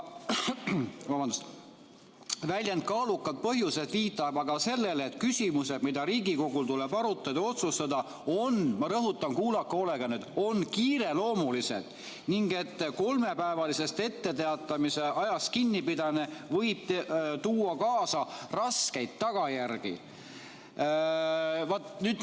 Väljend "kaalukad põhjused" viitab aga sellele, et küsimused, mida Riigikogul tuleb arutada ja otsustada, on – ma rõhutan, kuulake hoolega nüüd – kiireloomulised ning et kolmepäevalisest etteteatamisajast kinnipidamine võib tuua kaasa raskeid tagajärgi.